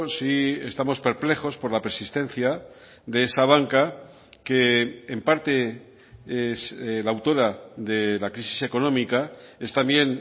sí estamos perplejos por la persistencia de esa banca que en parte es la autora de la crisis económica es también